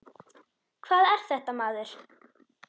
Hvað er þetta, maður?